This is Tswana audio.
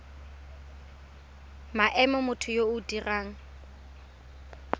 maemo motho yo o dirang